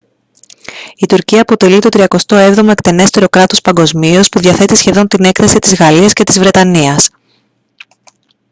η τουρκία αποτελεί το τριακοστό έβδομο εκτενέστερο κράτος παγκοσμίως που διαθέτει σχεδόν την έκταση της γαλλίας και της βρετανίας